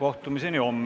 Istungi lõpp kell 14.07.